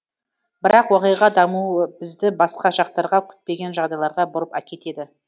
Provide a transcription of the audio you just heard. бірақ уақиға дамуы бізді басқа жақтарға күтпеген жағдайларға бұрып әкетеді